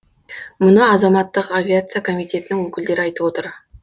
мұны азаматтық авиация комитетінің өкілдері айтып отыр